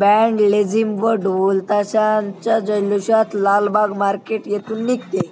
band लेझिम व ढोलताशांच्या जल्लोषात लालबाग मार्केट येथून निघते